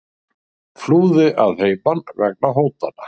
Flúði að heiman vegna hótana